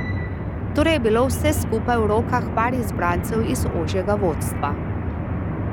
Torej je bilo vse skupaj v rokah par izbrancev iz ožjega vodstva.